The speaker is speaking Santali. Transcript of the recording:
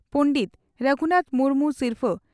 ᱯᱚᱸᱰᱮᱛ ᱨᱟᱹᱜᱷᱩᱱᱟᱛᱷ ᱢᱩᱨᱢᱩ ᱥᱤᱨᱯᱷᱟᱹ